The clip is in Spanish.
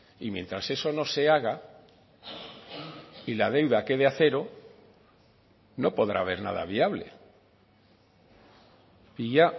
y mientras eso no se haga y la deuda quede a cero no podrá haber nada viable y ya